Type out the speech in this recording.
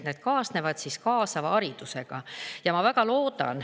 Need kaasnevad kaasava haridusega.